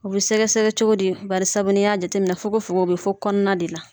U bɛ sɛgɛ-sɛgɛ cogo di barisabu n'i y'a jateminɛ fogo fogo o bɛ fo kɔnɔna de la.